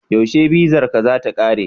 Yaushe bizarka za ta kare?